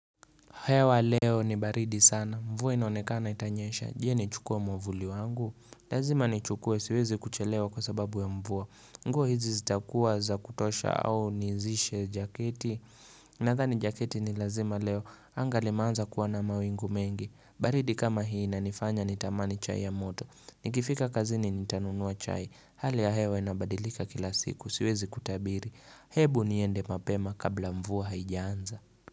Hewa leo ni baridi sana. Mvua inaonekana itanyesha. Je nichukue mwavuli wangu. Lazima ni chukua siwezi kuchelewa kwa sababu ya mvua. Nguo hizi zitakuwa za kutosha au nizishe jaketi. Nadhani jaketi ni lazima leo. Anga limeanza kuwa na mawingu mengi. Baridi kama hii inanifanya nitamani chai ya moto. Nikifika kazini nitanunua chai. Hali ya hewa inabadilika kila siku. Siwezi kutabiri. Hebu niende mapema kabla mvua haijaanza.